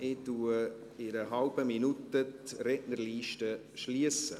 In einer halben Minute werde ich die Rednerliste schliessen.